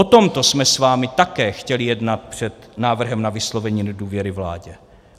O tomto jsme s vámi také chtěli jednat před návrhem na vyslovení nedůvěry vládě.